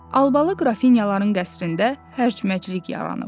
Albalı qrafinyaların qəsrində hərc-mərclik yaranıb.